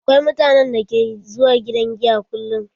Akwai mutanen da ke zuwa gidan giya kullum.